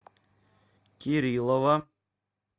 кириллова